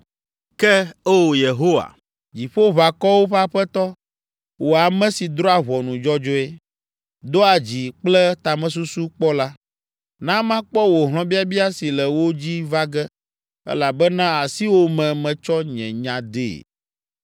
Ke, O Yehowa, Dziƒoʋakɔwo ƒe Aƒetɔ, wò ame si drɔ̃a ʋɔnu dzɔdzɔe, doa dzi kple tamesusu kpɔ la, na makpɔ wò hlɔ̃biabia si le wo dzi va ge elabena asiwò me metsɔ nye nya dee.